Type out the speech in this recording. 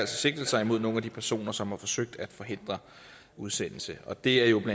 sigtelse imod nogen af de personer som har forsøgt at forhindre udsendelse og det er jo